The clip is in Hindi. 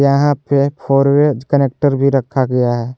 यहां पे एक फोर वेज कैरेक्टर भी रखा गया है।